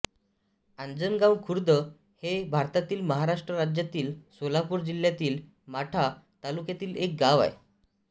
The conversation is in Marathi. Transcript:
आंजणगाव खुर्द हे भारतातील महाराष्ट्र राज्यातील सोलापूर जिल्ह्यातील माढा तालुक्यातील एक गाव आहे